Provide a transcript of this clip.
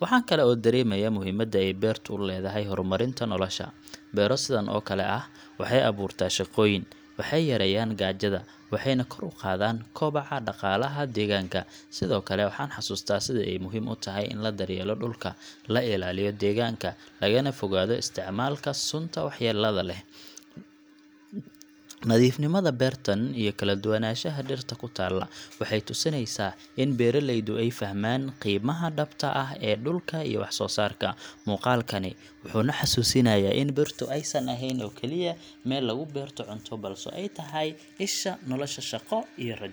Waxaan kale oo dareemayaa muhiimadda ay beertu u leedahay horumarinta nolosha. Beero sidan oo kale ah waxay abuurtaa shaqooyin, waxay yareeyaan gaajada, waxayna kor u qaadaan koboca dhaqaalaha deegaanka. Sidoo kale, waxaan xasuustaa sida ay muhiim u tahay in la daryeelo dhulka, la ilaaliyo deegaanka, lagana fogaado isticmaalka sunta waxyeellada leh. Nadiifnimada beertan iyo kala duwanaanshaha dhirta ku taalla waxay tusinayaan in beeraleydu ay fahmeen qiimaha dhabta ah ee dhulka iyo wax soo saarkiisa. Muuqaalkani wuxuu na xasuusinayaa in beertu aysan ahayn oo keliya meel lagu beerto cunto, balse ay tahay isha nolosha, shaqo, iyo rajo.